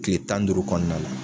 Tile tan ni duuru kɔɔna la